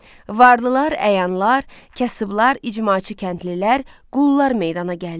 Varlılar, əyanlar, kasıblar, icmaçı kəndlilər, qullar meydana gəldi.